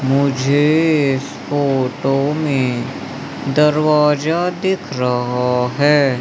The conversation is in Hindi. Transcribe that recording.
मुझे इस फोटो में दरवाजा दिख रहा है।